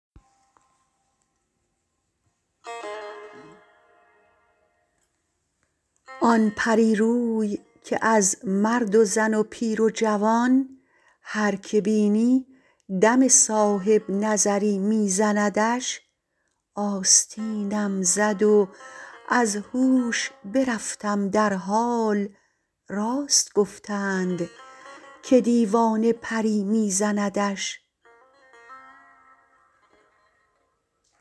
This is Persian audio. آن پریروی که از مرد و زن و پیر و جوان هر که بینی دم صاحبنظری می زندش آستینم زد و از هوش برفتم در حال راست گفتند که دیوانه پری می زندش